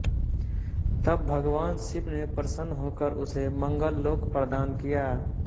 तब भगवान शिव ने प्रसन्न होकर उसे मंगल लोक प्रदान किया